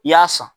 I y'a san